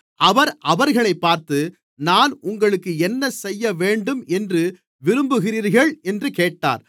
அவர் அவர்களைப் பார்த்து நான் உங்களுக்கு என்னசெய்யவேண்டும் என்று விரும்புகிறீர்கள் என்று கேட்டார்